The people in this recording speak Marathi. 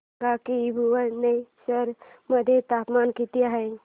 सांगा की भुवनेश्वर मध्ये तापमान किती आहे